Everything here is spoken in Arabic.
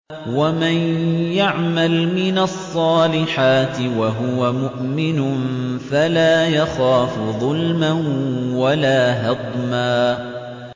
وَمَن يَعْمَلْ مِنَ الصَّالِحَاتِ وَهُوَ مُؤْمِنٌ فَلَا يَخَافُ ظُلْمًا وَلَا هَضْمًا